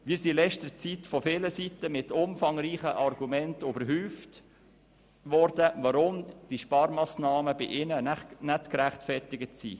Wir wurden in letzter Zeit von vielen Seiten mit umfangreichen Argumenten überhäuft, weshalb die Sparmassnahmen bei den Betroffenen nicht gerechtfertigt wären.